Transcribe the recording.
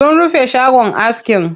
Sun rufe shagon askin.